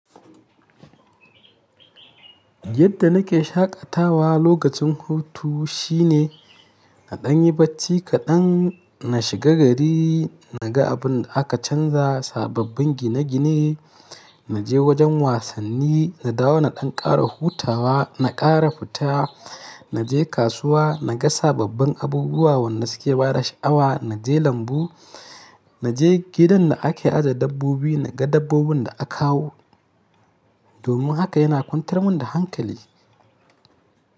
Yadda nake shaƙatawa lokacin hutu shine na ɗan yi bacci kaɗan, na shiga gari, na ga abun da aka canza, sababbin gine-gine, na je wajen wasanni, na dawo na ɗan ƙara hutawa, na ƙara fita, na je kasuwa, na ga sababbin abubuwa wanda suke bada sha'awa, na je lambu, na je gidan da ake ajiye dabbobi, na ga dabbobin da akawo. Domin haka yana kwantar min da hankali.